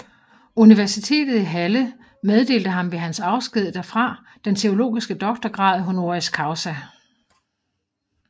Universitetet i Halle meddelte ham ved hans afsked derfra den teologiske doktorgrad honoris causa